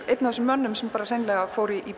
einn af þessum mönnum sem fór í